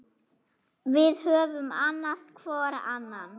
Við höfum annast hvor annan.